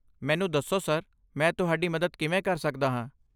ਮੈਨੂੰ ਦੱਸੋ ਸਰ, ਮੈਂ ਤੁਹਾਡੀ ਮਦਦ ਕਿਵੇਂ ਕਰ ਸਕਦਾ ਹਾਂ?